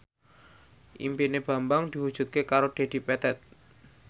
impine Bambang diwujudke karo Dedi Petet